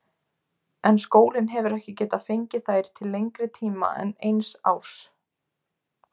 En skólinn hefur ekki getað fengið þær til lengri tíma en eins árs.